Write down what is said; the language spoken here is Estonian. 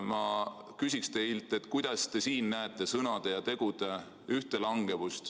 Ma küsin teilt, kuidas te siin näete sõnade ja tegude ühtelangevust.